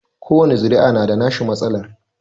Kowani zuri'a na da nashi matsalar